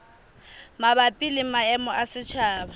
mabapi le maemo a setjhaba